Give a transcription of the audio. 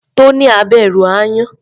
Tonia bẹ̀rù aáyán.